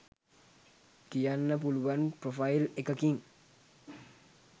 කියන්න පුළුවන් ප්‍රොෆයිල් එකකින්.